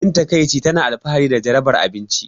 Abin takaici, tana alfahari da jarabar abinci.